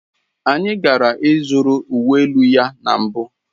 Anyị gara ịzụrụ uwe elu ya na mbụ.